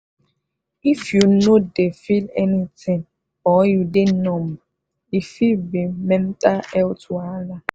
if you no dey feel anything or you dey numb e fit be mental health wahala.